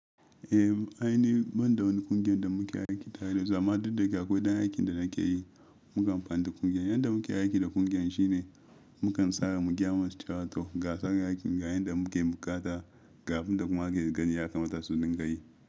Eh, ai ni banda wani ƙungiyar da muke aiki tare da su, zaman da duka koydan aikin da nake yi, mukan fanta ƙungiyar. Yanda muke aiki da ƙungiyar shine mukan tsara mu kyamar strato gasa gakin ga yanda muke bukata, kafin kuma aka gani ya kamata su dinga yi.